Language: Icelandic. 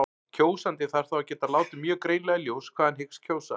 Kjósandi þarf þá að geta látið mjög greinilega í ljós hvað hann hyggst kjósa.